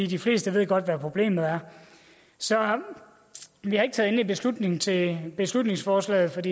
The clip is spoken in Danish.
de fleste ved godt hvad problemet er så vi har ikke taget endelig stilling til beslutningsforslaget